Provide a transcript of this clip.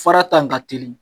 Fara ta in ka teli